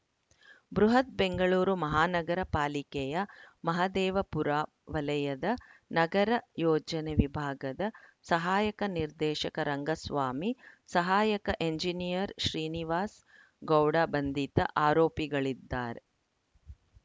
ಬೃಹತ್‌ ಬೆಂಗಳೂರು ಮಹಾನಗರ ಪಾಲಿಕೆಯ ಮಹದೇವಪುರ ವಲಯದ ನಗರ ಯೋಜನೆ ವಿಭಾಗದ ಸಹಾಯಕ ನಿರ್ದೇಶಕ ರಂಗಸ್ವಾಮಿ ಸಹಾಯಕ ಎಂಜಿನಿಯರ್‌ ಶ್ರೀನಿವಾಸ್‌ ಗೌಡ ಬಂಧಿತ ಆರೋಪಿಗಳಿದ್ದಾರೆ